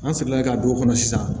An seginna ka don o kɔnɔ sisan